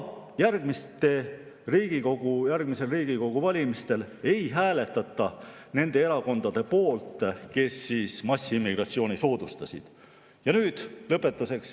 Järgmistel Riigikogu valimistel ei hääletata nende erakondade poolt, kes on massiimmigratsiooni soodustanud.